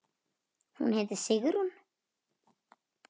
Hún heitir Sigrún.